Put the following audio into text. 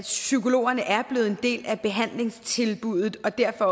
at psykologerne er blevet en del af behandlingstilbuddet og derfor